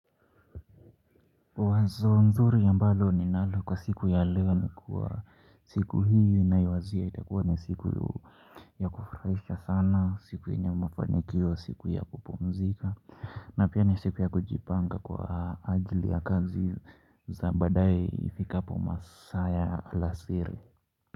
Wazo nzuri ambalo ninalo kwa siku ya leo ni kuwa siku hiyo inaiwazia itakuwa ni siku ya kufurahisha sana siku yenye mafanikio wa siku ya kupumzika na pia ni siku ya kujipanga kwa ajili ya kazi za baadaye ifikapo masaa ya alasiri.